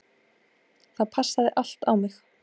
Það passaði allt á mig.